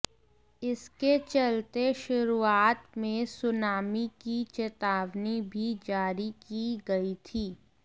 इसके चलते शुरुआत में सुनामी की चेतावनी भी जारी की गई थी